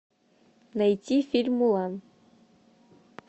найти фильм мулан